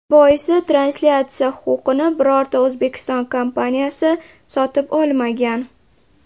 Boisi translyatsiya huquqini birorta O‘zbekiston kompaniyasi sotib olmagan.